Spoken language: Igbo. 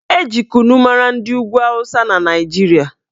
Eji kunu mara ndị ugwu awụsa na Naijiria